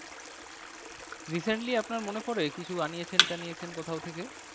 Recently আপনার মনে পরে কিছু আনিয়েছেন টানিয়েছেন কোথাও থেকে?